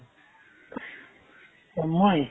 অ' মই